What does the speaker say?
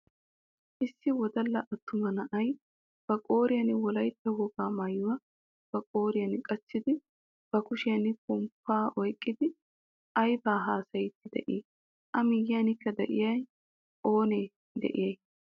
Issi wodalla attuma na'ay ba qooriyaan wolaytta wogaa maayuwaa ba qooriyaan qachchidi ba kushiyaan ponppaa oyqqidi aybaa haasayidi de'ii? a miyiyanikka de'iyaa oonee de'iyay?